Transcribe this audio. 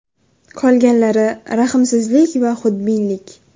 Qolganlari – rahmsizlik va xudbinlik.